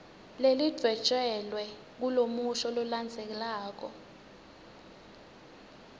lelidvwetjelwe kulomusho lolandzelako